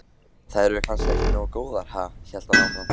Þær eru kannski ekki nógu góðar, ha? hélt hann áfram.